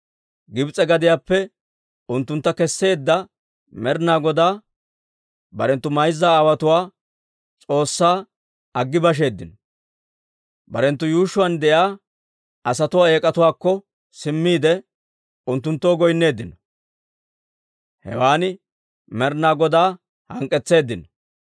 Gibs'e gadiyaappe unttuntta kesseedda Med'inaa Godaa, barenttu mayza aawotuwaa S'oossaa aggi basheeddino; barenttu yuushshuwaan de'iyaa asatuwaa eek'atuwaakko simmiide, unttunttoo goynneeddino; hewan Med'inaa Godaa hank'k'etseeddino.